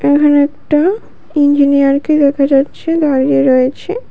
এখানে একটা ইঞ্জিনিয়ারকে দেখা যাচ্ছে দাঁড়িয়ে রয়েছে।